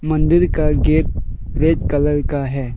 मंदिर का gate red colour का है।